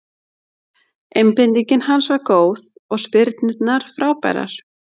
Einbeitingin hans var góð og spyrnurnar frábærar.